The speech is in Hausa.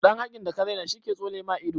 Ɗan hakin da ka raina shi ke tsole ma ido.